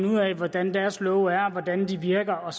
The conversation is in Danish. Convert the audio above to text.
ud af hvordan deres love er og hvordan de virker og